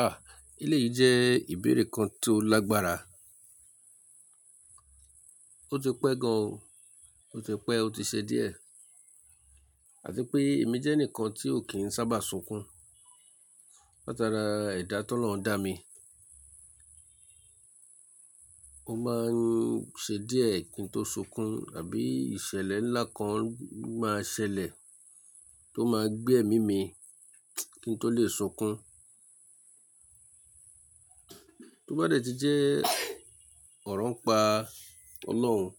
Ah! Eléyìí jẹ́ ìbéèrè kan tó lágbára. Ó ti pẹ́ gan, ó ti pẹ́, ó ti ṣe díẹ̀. Àti pé èmi jẹ́ ẹnìkan tí ò kí ń sábà sunkún. Láti ara ẹ̀dá t’Olọ́un dá mi. Ó máa ń ṣe díẹ̀ kí n tó sunkún àbí ìṣẹ̀lẹ̀ ńlá kan máa ṣẹlẹ̀ tó máa gbé ẹ̀mí mi kí n tó le sunkún. To bá dẹ̀ ti jẹ́ ọ̀ràn ń pa Ọlọ́run,